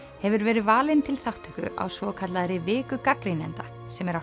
hefur verið valin til þátttöku á svokallaðri viku gagnrýnenda sem er á